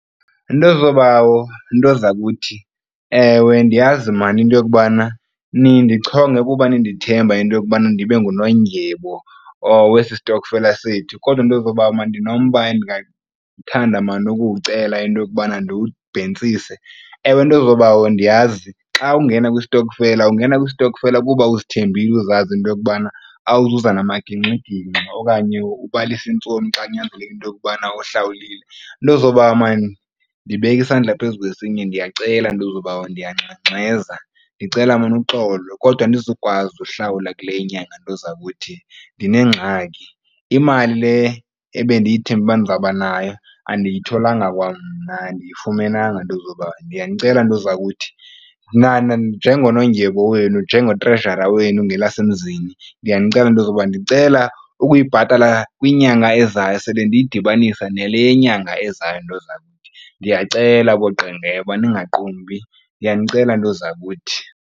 Nto zoobawo, nto zakuthi, ewe, ndiyazi maan into yokubana nindichonge kuba nindithemba into yokubana ndibe ngunondyebo wesi sitokfela sethu kodwa nto zoobawo ndinomba endingathanda mani ukuwucela into yokubana ndiwubhentsise. Ewe, nto zoobawo ndiyazi xa ungena kwistokfela ungena kwistokfela kuba uzithembile uzazi into yokubana awuzuza namagingxigingxi okanye ubalise iintsomi xa kunyanzeleke into yokubana uhlawulile. Nto zoobawo maan ndibeka isandla phezu kwesinye ndiyacela nto zoobawo ndiyangxengxeza ndicela maan uxolo kodwa andizukwazi ukuhlawula kule inyanga ntozakuthi. Ndinengxaki. Imali le ebendiyithembe uba ndizawuba nayo andiyitholanga kwamna andiyifumenanga nto zoobawo. Ndiyanicela nto zakuthi njengonondyebo wenu njengo-treasurer wenu ngelasemzini ndiyanicela nto zobawo ndicela ukuyibhatala kwinyanga ezayo sele ndiyidibanisa nale yenyanga ezayo nto zakuthi. Ndiyacela booQengeba ningaqumbi ndiyanicela nto zakuthi.